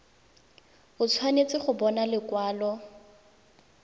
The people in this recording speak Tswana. o tshwanetse go bona lekwalo